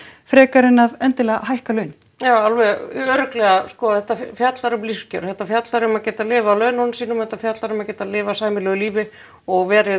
frekar en endilega að hækka laun já alveg örugglega sko þetta fjallar um lífskjör þetta fjallar um að geta lifað af laununum sínum þetta fjallar um að geta lifað sæmilegu lífi og verið